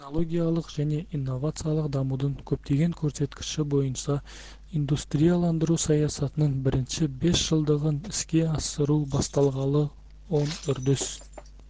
технологиялық және инновациялық дамудың көптеген көрсеткіші бойынша индустрияландыру саясатының бірінші бес жылдығын іске асыру басталғалы оң үрдіс